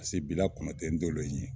Paseke bila kɔnɔ tɛ n dolen ye